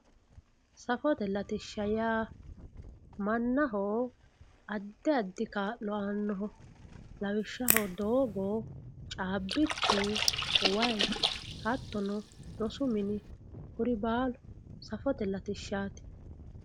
safote latishsha yaa mannaho addi addi kaa'lo aannoho lawishshaho doogo caabbichu wayi hattono rosu mini kuri baalu safote latishshaati